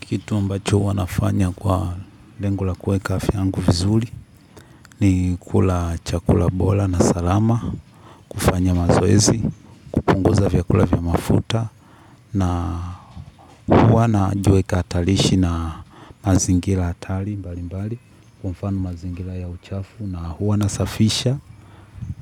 Kitu ambacho huwa nafanya kwa lengo la kuweka afya yangu vizuri ni kula chakula bora na salama, kufanya mazoezi, kupunguza vyakula vya mafuta na huwa naijweka tarishi na mazingira hatari mbali mbali kwa mfano mazingira ya uchafu na huwa nasafisha